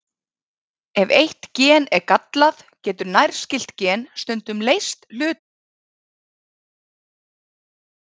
Ef eitt gen er gallað, getur nærskylt gen stundum leyst hlutverk þess nægilega vel.